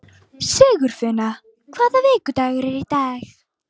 Sigurfinna, hvaða vikudagur er í dag?